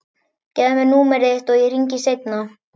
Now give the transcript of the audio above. Gefðu mér númerið þitt og ég hringi seinna.